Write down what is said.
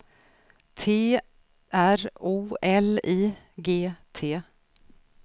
T R O L I G T